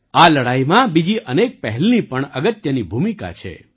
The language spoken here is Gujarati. આ લડાઈમાં બીજી અનેક પહેલની પણ અગત્યની ભૂમિકા છે